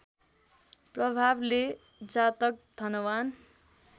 प्रभावले जातक धनवान्